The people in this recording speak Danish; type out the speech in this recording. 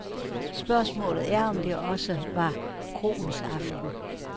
Spørgsmålet er, om det også var kroens aften.